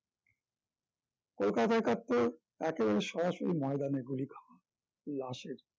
কলকাতায় একাত্তর একেবারে সরাসরি ময়দানে গুলি খাওয়া লাশের